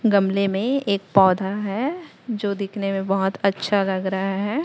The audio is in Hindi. गमले में एक पौधा है जो दिखने में बहोत अच्छा लग रहा है।